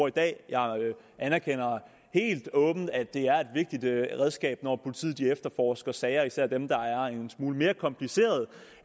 i dag jeg anerkender helt åbent at det er et vigtigt redskab når politiet efterforsker sager især dem der er en smule mere komplicerede